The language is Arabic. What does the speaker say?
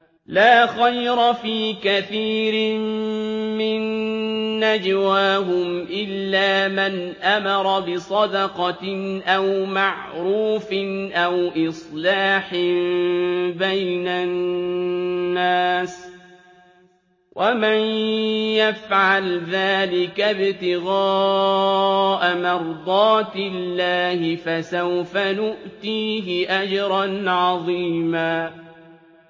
۞ لَّا خَيْرَ فِي كَثِيرٍ مِّن نَّجْوَاهُمْ إِلَّا مَنْ أَمَرَ بِصَدَقَةٍ أَوْ مَعْرُوفٍ أَوْ إِصْلَاحٍ بَيْنَ النَّاسِ ۚ وَمَن يَفْعَلْ ذَٰلِكَ ابْتِغَاءَ مَرْضَاتِ اللَّهِ فَسَوْفَ نُؤْتِيهِ أَجْرًا عَظِيمًا